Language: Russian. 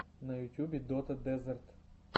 на ютюбе дота дезерт